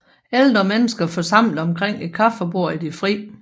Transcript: Ældre mennesker forsamlet omkring et kaffebord i det fri